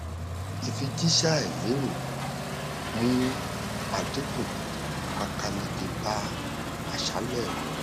ìfijíṣẹ àìlérò mú àdínkù pákáleke bá àṣálẹ mi